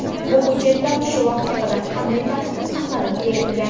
Bu hujjatlar shu vaqtga qadar qanday tartibda saqlab kelingan?